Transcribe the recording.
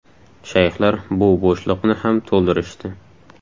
Shayxlar bu bo‘shliqni ham to‘ldirishdi.